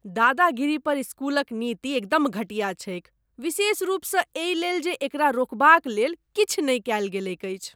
दादागिरी पर स्कूलक नीति एकदम घटिया छैक, विशेष रूपसँ एहिलेल जे एकरा रोकबाक लेल किछु नहि कयल गेलैक अछि।